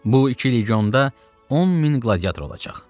Bu iki legionda 10 min qladiator olacaq.